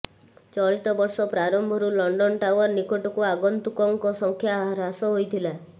ଚଳିତବର୍ଷ ପ୍ରାରମ୍ଭରୁ London Tower ନିକଟକୁ ଆଗନ୍ତୁକଙ୍କ ସଂଖ୍ୟା ହ୍ରାସ ହୋଇଥିଲା